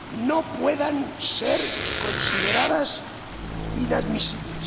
no puedan ser consideradas inadmisibles.